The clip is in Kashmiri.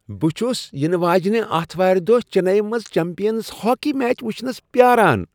بہٕ چُھس ینہٕ واجِنہِ آتھوارِ دۄہ چنیی منز چمپِینز ہاكی میچ وُچھنس پیاران ۔